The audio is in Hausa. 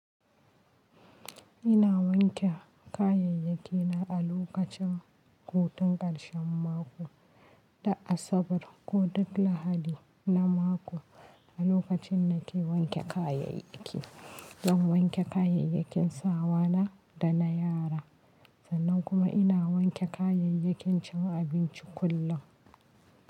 Ina wanke kayayyaki na a lokacin hutun ƙarshen mako, da Asabar ko duk Lahadi na mako. A lokacin nake wanke kayayyaki, Zan wanke kayayyakin sawa na da na yara. Sannan kuma ina wanke kayayyakin cin abinci kullum.